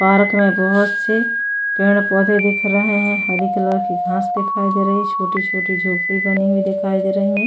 Park में बहुत से पेड़ पौधे दिख रहे हैं हरी कलर की घास दिखाई दे रही है छोटी-छोटी झोपड़ी बनी हुई दिखाई दे रही है।